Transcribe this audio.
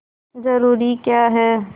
जरूरी क्या है